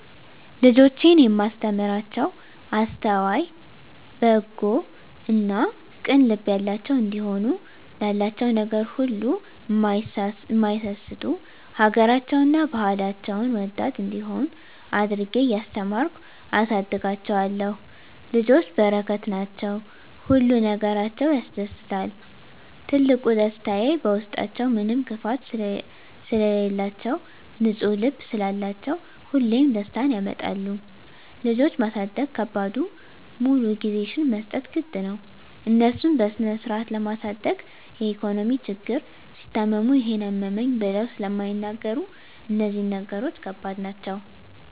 ልጆቼን እማስተምራቸዉ አስተዋይ፣ በጎ እና ቅን ልብ ያላቸዉ እንዲሆኑ፣ ላላቸዉ ነገር ሁሉ እማይሳስቱ፣ ሀገራቸዉን እና ባህላቸዉን ወዳድ እንዲሆነ አድርጌ እያስተማርኩ አሳድጋቸዋለሁ። ልጆች በረከት ናቸዉ። ሁሉ ነገራቸዉ ያስደስታል ትልቁ ደስታየ በዉስጣችዉ ምንም ክፋት ስለላቸዉ፣ ንፁ ልብ ስላላቸዉ ሁሌም ደስታን ያመጣሉ። ልጆች ማሳደግ ከባዱ ሙሉ ጊዜሽን መስጠት ግድ ነዉ፣ እነሱን በስነስርአት ለማሳደግ የኢኮኖሚ ችግር፣ ሲታመሙ ይሄን አመመኝ ብለዉ ስለማይናገሩ እነዚህ ነገሮች ከባድ ናቸዉ።